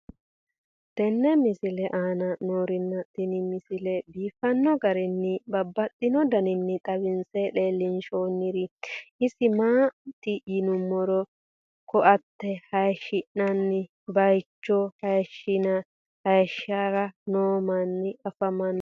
tenne misile aana noorina tini misile biiffanno garinni babaxxinno daniinni xawisse leelishanori isi maati yinummoro koate hayiishi'nanni bayiichcho hayiishiranni noo manni afammanno